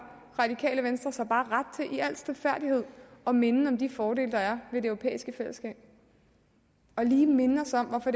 radikale venstre sig bare ret til i al stilfærdighed at minde om de fordele der er ved det europæiske fællesskab og lige minde os om hvorfor